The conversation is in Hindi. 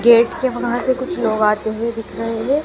गेट के वहां से कुछ लोग आते हुए दिख रहे हैं।